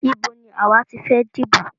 Ibo ní àwa ti fẹ́ dìbò?